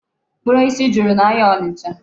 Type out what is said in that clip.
Mkpụrụ osisi juru n'ahịa Ọnịcha.